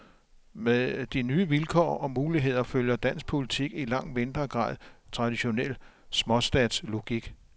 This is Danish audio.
Med de nye vilkår og muligheder følger dansk politik i langt mindre grad traditionel småstatslogik.